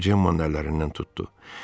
O Cemmanın əllərindən tutdu.